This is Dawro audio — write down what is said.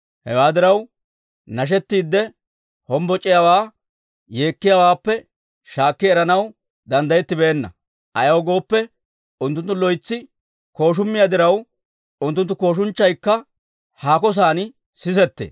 Hewaa diraw, nashettiidde hombboc'iyaawaa yeekkiyaawaappe shaakki eranaw danddayettibeenna. Ayaw gooppe, unttunttu loytsi kooshumiyaa diraw, unttunttu kooshunchchaykka haako san sisetee.